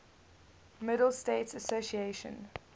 middle states association